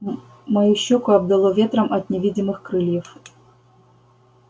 мою щёку обдало ветром от невидимых крыльев